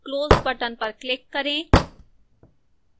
close button पर click करें